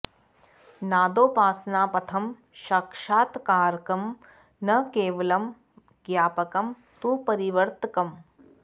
नादोपासना पथं सक्षात्कारकं न केवलं ज्ञापकं तु परिवर्तकम्